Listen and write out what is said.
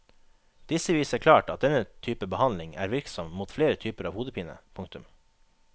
Disse viser klart at denne type behandling er virksom mot flere typer av hodepine. punktum